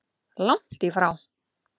Langt í frá!